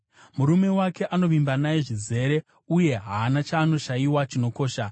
Murume wake anovimba naye zvizere, uye haana chaanoshayiwa chinokosha.